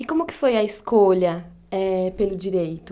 E como que foi a escolha eh pelo direito?